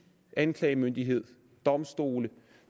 anklagemyndighed domstole